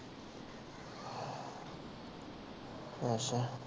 ਅੱਛਾ।